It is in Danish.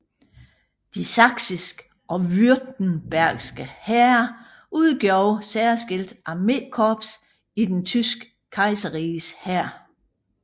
De saksiske og württembergske hære udgjorde særskilte armékorps i det tyske kejserriges hær